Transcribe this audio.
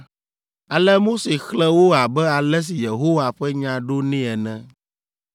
Ale Mose xlẽ wo abe ale si Yehowa ƒe nya ɖo nɛ ene.